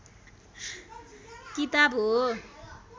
किताब हो